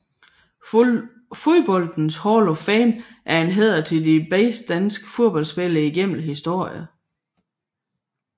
Fodboldens Hall of Fame er en hæder til de bedste danske fodboldspillere igennem historien